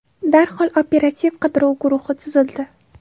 Darhol operativ-qidiruv guruhi tuzildi.